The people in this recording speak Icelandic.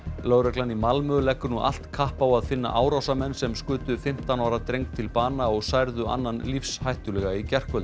lögreglan í Malmö leggur nú allt kapp á að finna árásarmenn sem skutu fimmtán ára dreng til bana og særðu annan lífshættulega í gærkvöld